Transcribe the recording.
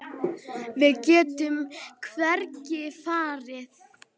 Við getum hvergi farið.